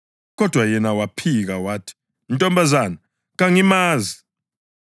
Kodwa yena waphika wathi, “Ntombazana, kangimazi.”